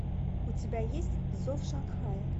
у тебя есть зов шанхая